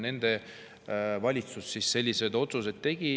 Nende valitsus sellised otsused tegi.